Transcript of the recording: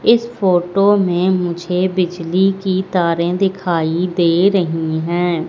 इस फोटो में मुझे बिजली की तारें दिखाई दे रही हैं।